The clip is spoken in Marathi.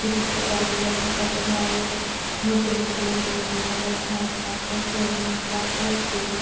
व तिकडं बाजूला अजून काही तरी आहे मोठे मोठे हिरवे हिरवे झाडं आहेत नारळाचे असेल लिंबाचे असतील.